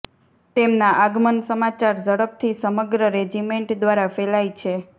તેમના આગમન સમાચાર ઝડપથી સમગ્ર રેજિમેન્ટ દ્વારા ફેલાય છે